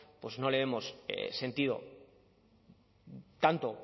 no le vemos sentido tanto